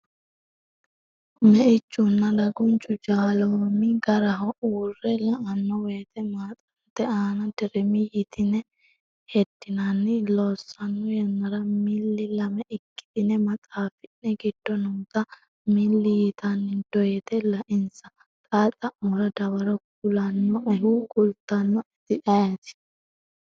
Meichunna dagunchu jaaloomi garaho uurre la”anno woyte maxxate aana dirmi yitine heddinanni? Loossanno yannara milli lame ikkitine maxaafi’ne giddo noota milli yitani doyte lainsa) Xaa xa’mora dawaro kulannoehu kultannoeti ayeeti?